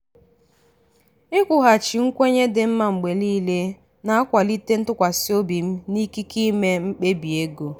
ikwughachi nkwenye dị mma mgbe niile na-akwalite ntụkwasị obi m na ikike ime mkpebi ego.